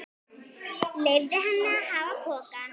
Leyfði henni að hafa pokann.